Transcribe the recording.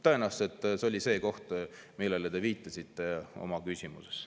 Tõenäoliselt see oli see koht, millele te viitasite oma küsimuses.